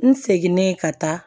N seginen ka taa